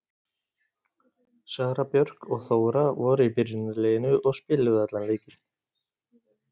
Sara Björk og Þóra voru í byrjunarliðinu og spiluðu allan leikinn.